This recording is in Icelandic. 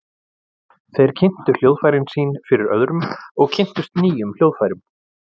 Þeir kynntu hljóðfærin sín fyrir öðrum og kynntust nýjum hljóðfærum.